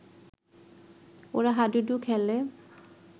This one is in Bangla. ওরা হাডুডু খেলে